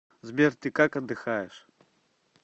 сбер ты как отдыхаешь